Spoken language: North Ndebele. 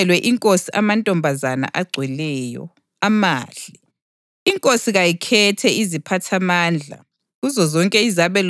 Izinceku zenkosi zasezisithi kuyo, “Akudingelwe inkosi amantombazana agcweleyo, amahle.